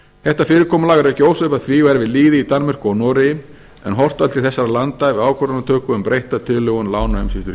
þetta fyrirkomulag er ekki ósvipað því og er við lýði í danmörku og noregi en horft var til þessara landa við ákvörðunartöku um breytta tilhögun lánaumsýslu